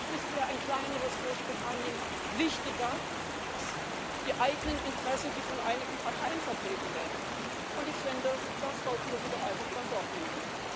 Vielleicht ist ihr ein kleineres Großbritannien wichtiger als die eigenen Interessen, die von einigen Parteien vertreten werden, und ich finde, da sollten wir sie doch einfach beim Wort nehmen.